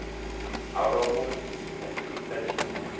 halwa vhu vha tshipiḓa tshine